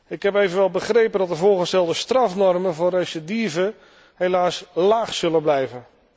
Ik heb evenwel begrepen dat de voorgestelde strafnormen voor recidive helaas laag zullen blijven.